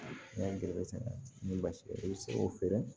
N y'a garisɛgɛ sɛnɛ ni basi i bɛ se k'o feere